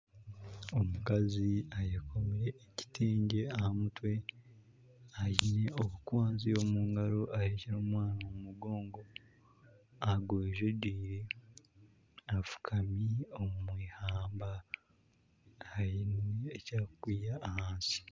Omukazi ayekomire ekitengye aha mutwe aine obukwanzi omu ngaro ahekire omwana omu mugongo agwejegyeire afukami omwihamba aine eki arikwiha aha nsi.